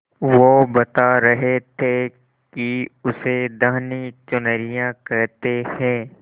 वो बता रहे थे कि उसे धानी चुनरिया कहते हैं